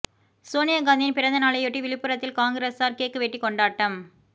சோனியா காந்தியின் பிறந்த நாளையொட்டி விழுப்புரத்தில் காங்கிரசார் கேக் வெட்டி கொண்டாட்டம்